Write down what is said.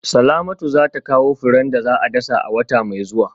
Salamatu za ta kawo furen da za a dasa a wata mai zuwa